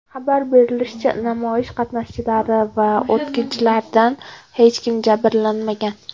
Xabar berilishicha, namoyish qatnashchilari va o‘tkinchilardan hech kim jabrlanmagan.